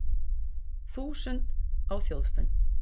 Þúsund á Þjóðfund